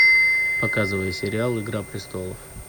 показывай сериал игра престолов